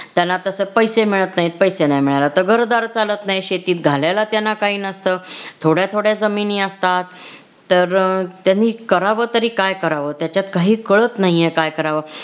त्याला तास पैसे मिळत नाहीत. पैसे नाही मिळाले तर घरदार चालत नाही शेतीत घालायला त्यांना काही नसत. थोडया थोडया जमिनी असतात. तर अह त्यांनी करावं तरी काय करावं त्याच्यात काहीच कळत नाहीये काय करावं.